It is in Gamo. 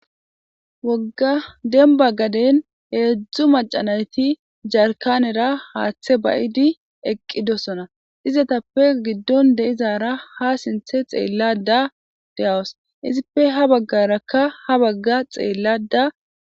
wogga demibba gaddeni hedzu macca nayiti jarikanera hathe ba'di eqidossona . izatttape giddoni deyizara ha sinithe xelada deyawusi